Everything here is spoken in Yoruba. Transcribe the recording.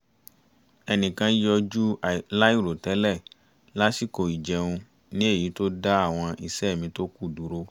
ẹnìkan yọjú láìrò tẹ́lẹ̀ lásìkò ìjẹun ní èyí tó dá àwọn iṣẹ́ mi tó kù dúró